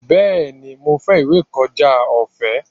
Bẹ́ẹ̀ni, mo fẹ́ ìwé ìkọjá ọ̀fẹ́.